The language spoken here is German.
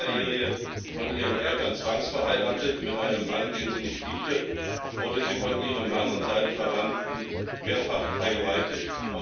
Als Minderjährige von ihren Eltern zwangsverheiratet mit einem Mann, den sie nicht liebte, wurde sie von ihrem Mann und seinen Verwandten mehrfach vergewaltigt.